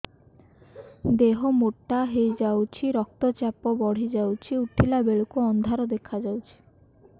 ଦେହ ମୋଟା ହେଇଯାଉଛି ରକ୍ତ ଚାପ ବଢ଼ି ଯାଉଛି ଉଠିଲା ବେଳକୁ ଅନ୍ଧାର ଦେଖା ଯାଉଛି